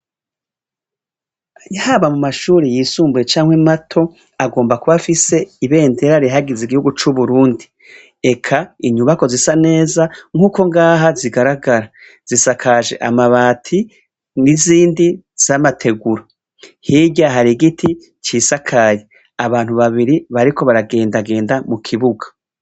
Yhaba mu mashuri yisumbuye canke mato agomba kubafise ibendera rihagize igihugu c'uburundi eka inyubako zisa neza nk'uko ngaha zigaragara zisakaje amabati n'izindi z'amateguru hirya hari igiti cisakaye abantu babi mri bariko baragendagenda mu kibuga.